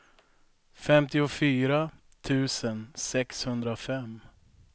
femtiofyra tusen sexhundrafem